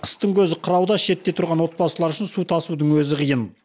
қыстың көзі қырауда шетте тұрған отбасылар үшін су тасудың өзі қиын